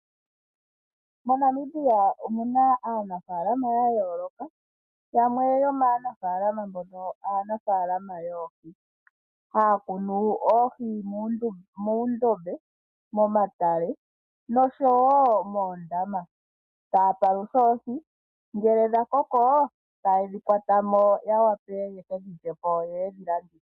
MoNamibia omuna aanafaalama ya yooloka, yamwe yomaanafaalama mbono aanafaalama yoohi, haya kunu oohi muundombe, momatale noshowo moondama, taya palutha oohi ngele dha koko taye dhi kwata mo ya wape yeke dhi lyepo yo yedhi landithe.